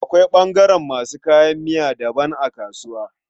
Akwai ɓangaren masu kayan miya daban a kasuwa.